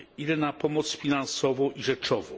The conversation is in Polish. Ile na pomoc finansową i rzeczową?